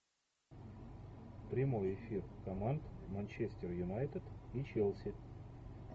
прямой эфир команд манчестер юнайтед и челси